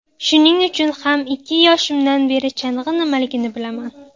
Shuning uchun ham ikki yoshimdan beri chang‘i nimaligini bilaman.